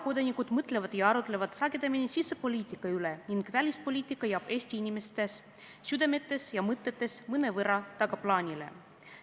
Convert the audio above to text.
Reeglina mõtlevad ja arutlevad tavakodanikud sagedamini sisepoliitika üle ning välispoliitika jääb Eesti inimeste südametes ja mõtetes mõnevõrra tagaplaanile.